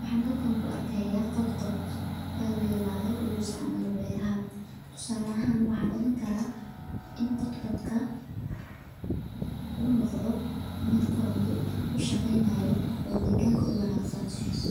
Waxaa halkan ku arkaya qod qod bahal layirahdo lagu isticmalo beeraha tusala ahan makala in qod qodka u noqdo mid koronta kushaqeynayo oo deganka ku wanasan